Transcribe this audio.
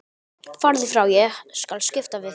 Farðu frá, ég skal skipta við þig.